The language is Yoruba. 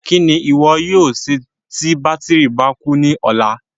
Kí ni ìwọ yóò ṣe tí bátírì bá kú ní ọ̀la?